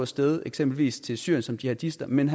sted eksempelvis til syrien som jihadister men